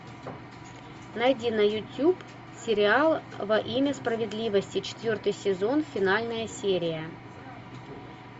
найди на ютуб сериал во имя справедливости четвертый сезон финальная серия